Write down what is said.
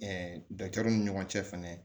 ni ɲɔgɔn cɛ fɛnɛ